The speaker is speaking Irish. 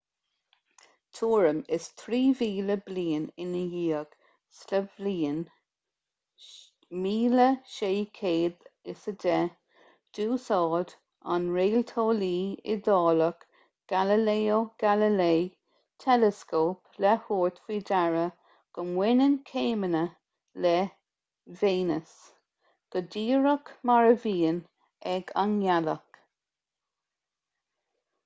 tuairim is trí mhíle bliain ina dhiaidh sa bhliain 1610 d'úsáid an réalteolaí iodálach galileo galilei teileascóp le tabhairt faoi deara go mbaineann céimeanna le véineas go díreach mar a bhíonn ag an ngealach